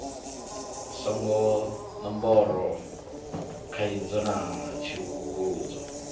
songo ṋombora khaidzo na tsivhudzo